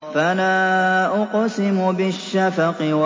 فَلَا أُقْسِمُ بِالشَّفَقِ